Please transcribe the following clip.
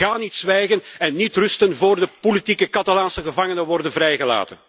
Ik ga niet zwijgen en niet rusten voor de politieke Catalaanse gevangenen worden vrijgelaten.